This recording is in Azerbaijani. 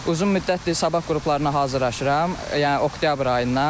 Uzun müddətdir sabah qruplarına hazırlaşıram, yəni oktyabr ayından.